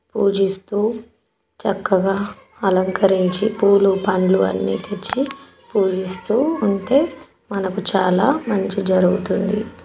పూజిస్తూ చెక్కగా అలంకరించి పూలు పండ్లు అన్ని తెచ్చి పూజిస్తూ వుంటే మనకు చాలా మంచి జరుగుతుంది.